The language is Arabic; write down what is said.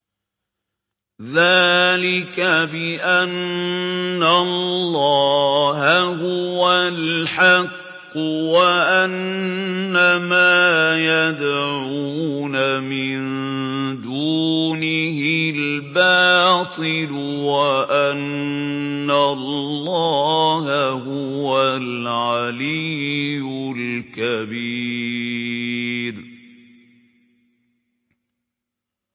ذَٰلِكَ بِأَنَّ اللَّهَ هُوَ الْحَقُّ وَأَنَّ مَا يَدْعُونَ مِن دُونِهِ الْبَاطِلُ وَأَنَّ اللَّهَ هُوَ الْعَلِيُّ الْكَبِيرُ